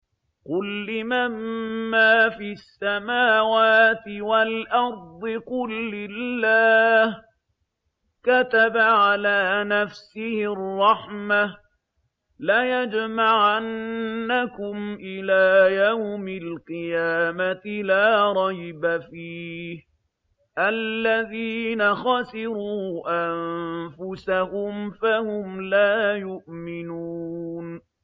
قُل لِّمَن مَّا فِي السَّمَاوَاتِ وَالْأَرْضِ ۖ قُل لِّلَّهِ ۚ كَتَبَ عَلَىٰ نَفْسِهِ الرَّحْمَةَ ۚ لَيَجْمَعَنَّكُمْ إِلَىٰ يَوْمِ الْقِيَامَةِ لَا رَيْبَ فِيهِ ۚ الَّذِينَ خَسِرُوا أَنفُسَهُمْ فَهُمْ لَا يُؤْمِنُونَ